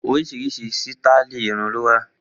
Oríṣiríṣi sítáálì irun ló wà.